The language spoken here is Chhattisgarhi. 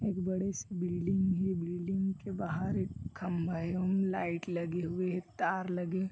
एक बड़े से बिल्डिंग हे बिल्डिंग के बाहर एक खम्बा हे ओमें लाइट लगे हुए हे तार लगे हुए हे।